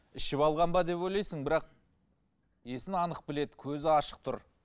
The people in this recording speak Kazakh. ішіп алған ба деп ойлайсың бірақ есін анық біледі көзі ашық тұр